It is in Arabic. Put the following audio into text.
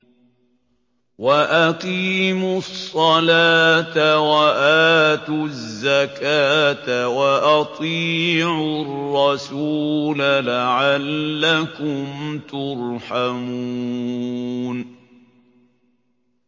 وَأَقِيمُوا الصَّلَاةَ وَآتُوا الزَّكَاةَ وَأَطِيعُوا الرَّسُولَ لَعَلَّكُمْ تُرْحَمُونَ